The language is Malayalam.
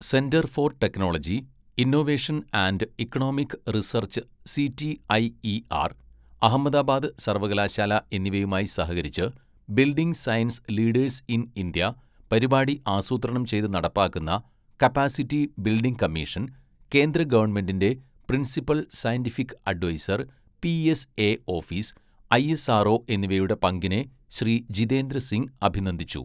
Centre for technology, innovation and economic research CTIER, Ahmedabad സർവ്വകലാശാല എന്നിവയുമായി സഹകരിച്ച്, building science leaders in India പരിപാടി ആസൂത്രണം ചെയ്ത് നടപ്പാക്കുന്ന കപ്പാസിറ്റി ബിൽഡിംഗ് കമ്മീഷൻ, കേന്ദ്ര ഗവൺമെന്റിന്റെ principal scientific adviser PSA office, ISRO എന്നിവയുടെ പങ്കിനെ ശ്രീ ജിതേന്ദ്ര സിംഗ് അഭിനന്ദിച്ചു.